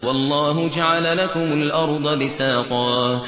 وَاللَّهُ جَعَلَ لَكُمُ الْأَرْضَ بِسَاطًا